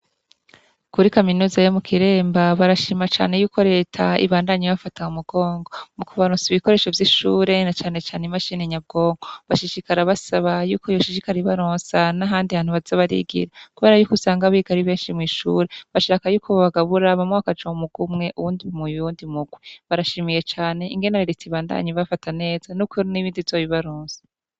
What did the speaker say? kuri kaminuza yo mu kiremba barashima cane y'uko reta ibandanya ibafata mu mugongo mu kubaronsa ibikoresho vy'ishure na cane cane imashini nyabwonko bashishikara basaba yuko yoshishikara ibaronsa n'ahandi hantu baza barigira kubera y'uko usanga abigari benshi mu ishure bashaka yuko ba bagaburamwo umurwi uwundi muwundi mugwe barashimiye cane ingene reta ibandanya ibafata neza n'ukuri n'ibindi izo bibaronse.